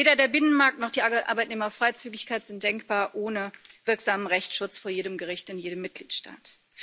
Weder der Binnenmarkt noch die Arbeitnehmerfreizügigkeit sind denkbar ohne wirksamen Rechtsschutz vor jedem Gericht in jedem Mitgliedstaat.